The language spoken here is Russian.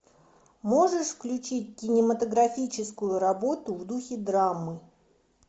можешь включить кинематографическую работу в духе драмы